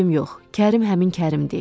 Kərim həmin Kərim deyil.